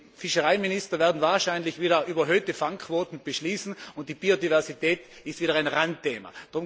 Die Fischereiminister werden wahrscheinlich wieder überhöhte Fangquoten beschließen, und die Biodiversität ist wieder ein Randthema.